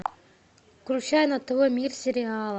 включай на тв мир сериала